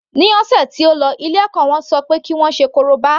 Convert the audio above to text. Ní ọ̀sẹ̀ tó lọ ilé ẹ̀kọ́ ṣọ pé kí wọ́n ṣe korobá.